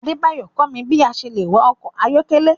Adebayo kọ mi bi a ṣe le wạ ọkọ ayọkẹlẹ